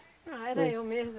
Ah, era eu mesmo!